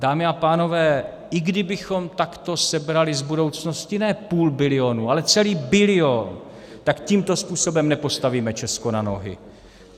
Dámy a pánové, i kdybychom takto sebrali z budoucnosti ne půl bilionu, ale celý bilion, tak tímto způsobem nepostavíme Česko na nohy.